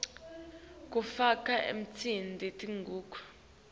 kufaka ekhatsi tingucuko